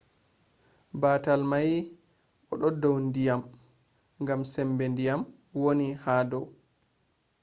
batal mai o dau ndyiam gam sembe diyam wani ha dou